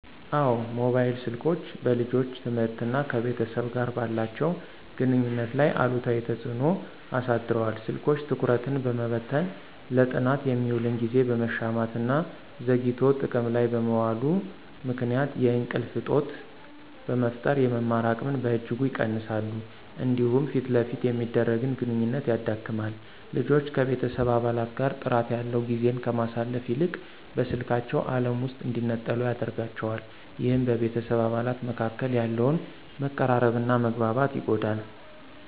አዎ፣ ሞባይል ስልኮች በልጆች ትምህርትና ከቤተሰብ ጋር ባላቸው ግንኙነት ላይ አሉታዊ ተጽዕኖ አሳድረዋል። ስልኮች ትኩረትን በመበተን፣ ለጥናት የሚውልን ጊዜ በመሻማትና ዘግይቶ ጥቅም ላይ በመዋሉ ምክንያት የእንቅልፍ እጦት በመፍጠር የመማር አቅምን በእጅጉ ይቀንሳሉ። እንዲሁም ፊት ለፊት የሚደረግን ግንኙነት ያዳክማል። ልጆች ከቤተሰብ አባላት ጋር ጥራት ያለው ጊዜን ከማሳለፍ ይልቅ በስልካቸው ዓለም ውስጥ እንዲነጠሉ ያደርጋቸዋል። ይህም በቤተሰብ አባላት መካከል ያለውን መቀራረብና መግባባት ይጎዳል።